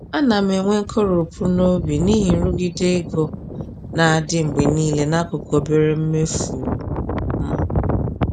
Ana m enwe nkoropụ n’obi n’ihi nrụgide ego na-adị mgbe niile n’akụkụ obere mmefu m.